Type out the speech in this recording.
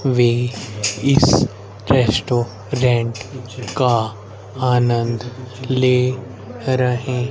वे इस रेस्टोरेंट का आनंद ले रहे--